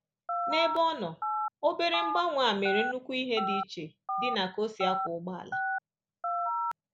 N’ebe ọ nọ, obere mgbanwe a mere nnukwu ihe di che di na ka-osi akwọ ụgbọala.